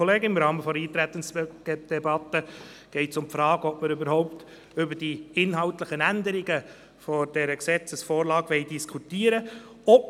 Im Rahmen der Eintretensdebatte geht es um die Frage, ob wir überhaupt über die inhaltlichen Änderungen dieser Gesetzesvorlage diskutieren wollen.